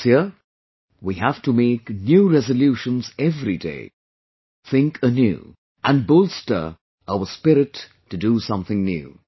This year we have to make new resolutions every day, think new, and bolster our spirit to do something new